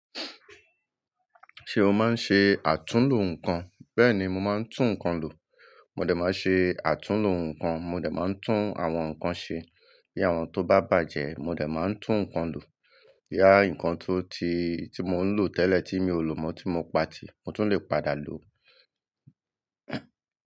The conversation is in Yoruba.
Ṣé o máa ń ṣe àtúnlo nǹkan? Bẹ́ẹ̀ni, mo máa ń tún nǹkan lò. Mó dẹ̀ máa n ṣe àtúnlo nǹkan, mó dẹ̀ máa ń tún àwọn nǹkan ṣe bí àwọn tó bá bàjẹ́. Mó dẹ̀ máa ń tún nǹkan lò. Boya nǹkan tó ti-- tí mò ń lò tẹ́lẹ̀ tí mi ò lò mọ́ tí mo pa tì, mo tún lè padà lò ó.